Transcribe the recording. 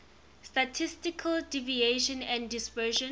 statistical deviation and dispersion